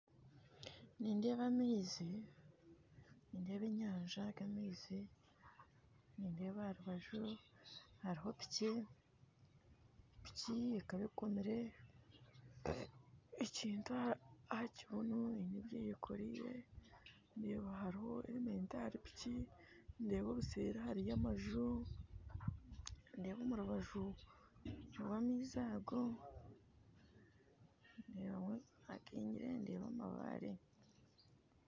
Nindeeba amaizi na ebinyaatsi aha aga amaizi nindeeba aha rubaju hariho piki piki ekaba ekomire ekintu aha kibunu eine ebyeyekoriire ndeeba hariho herementi ahari piki ndeeba obuseri hariyo amaju ndeeba omu rubaju rwa amaizi ago ndeebamu hakingire ndeba amabare